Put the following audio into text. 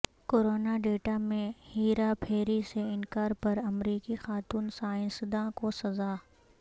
corona data میں ہیرا پھیری سے انکار پر امریکی خاتون سائنسداں کو سزا